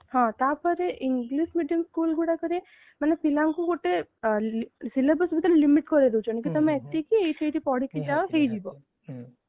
ହଁ ତାପରେ english medium school ଗୁଡାକରେ ମାନେ ପିଲାଙ୍କୁ ଗୋଟେ syllabus ଭିତରେ limit କରେଇଦେଉଛନ୍ତି କି ତମେ ଏତିକି ସେଇଟି ପଢିକି ଯାଅ ହେଇଯିବ ହଁ